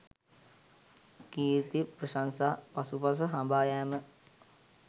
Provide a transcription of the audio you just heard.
කීර්ති ප්‍රශංසා පසුපස හඹා යෑම